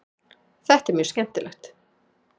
Þetta er mjög skemmtilegt.